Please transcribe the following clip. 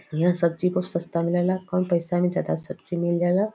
यहां सब्जी बहुत सस्ता मिलेला। कम पैसा में जादा सब्जी मिल जाला।